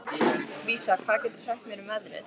Vísa, hvað geturðu sagt mér um veðrið?